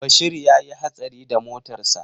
Bashir ya yi hatsari da motarsa